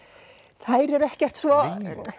þær eru ekkert svo